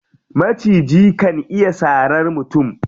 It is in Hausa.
Maciji kan iya sarar mutum.